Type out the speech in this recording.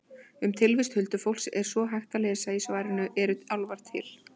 Um tilvist huldufólks er svo hægt að lesa í svarinu Eru álfar til?